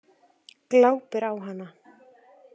Glápir á hana.